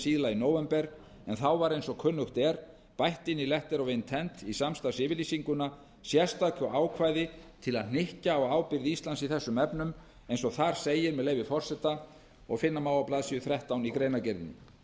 síðla í nóvembermánuði en þá var eins og kunnugt er bætt inn letter of intent í samstarfsyfirlýsinguna sérstöku ákvæði til að hnykkja á ábyrgð íslands í þessum efnum eins og þar segir með leyfi forseta og finna má á blaðsíðu þrettán í greinargerðinni